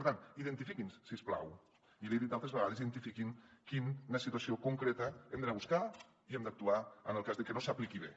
per tant identifiquin ho si us plau i l’hi he dit altres vegades identifiquin quina situació concreta hem d’anar a buscar i en quina hem d’actuar en el cas de que no s’apliqui bé